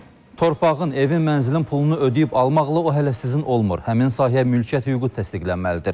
Torpağın, evin, mənzilin pulunu ödəyib almaqla o hələ sizin olmur, həmin sahəyə mülkiyyət hüququ təsdiqlənməlidir.